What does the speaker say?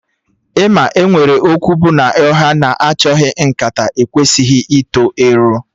Ị ma enwere okwu bụ na ọhịa na achọghị nkata ekwesịghị ito ero?